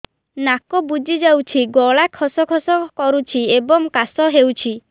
ନାକ ବୁଜି ଯାଉଛି ଗଳା ଖସ ଖସ କରୁଛି ଏବଂ କାଶ ହେଉଛି